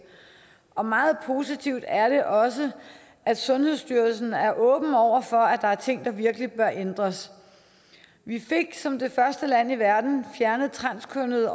og meget positivt er det også at sundhedsstyrelsen er åben over for at der er ting der virkelig bør ændres vi fik som det første land i verden fjernet transkønnede